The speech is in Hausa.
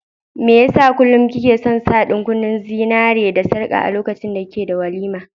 Mai yasa kullum ki ke son sa ɗan kunnen zinariya da sarka a duk lokacin da kike da walima?